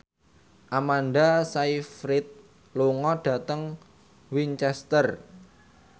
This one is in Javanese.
Amanda Sayfried lunga dhateng Winchester